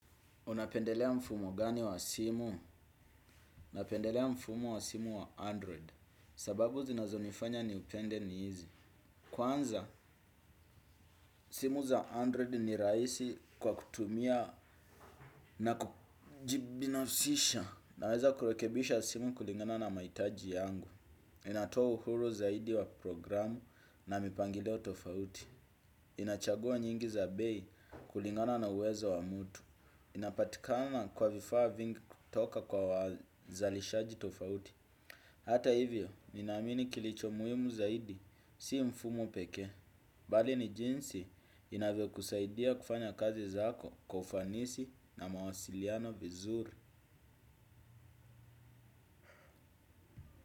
Unapendelea mfumo gani wa simu? Napendelea mfumo wa simu wa Android. Sababu zinazo nifanya ni upende ni hizi. Kwanza, simu za Android ni raisi kwa kutumia na kujibinafsisha. Naweza kurekebisha simu kulingana na maitaji yangu. Inatoa uhuru zaidi wa programu na mipangilio tofauti. Inachagua nyingi za bei kulingana na uwezo wa mutu. Inapatikama kwa vifaa vingi kutoka kwa wazalishaji tofauti. Hata hivyo, nina amini kilicho muhimu zaidi, si mfumo pekee bali ni jinsi inavyo kusaidia kufanya kazi zako kwa ufanisi na mawasiliano vizuri.